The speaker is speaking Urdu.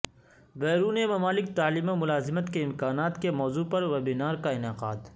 بیرون ملک تعلیم و ملازمت کے امکانات کے موضوع پر ویبینار کا انعقاد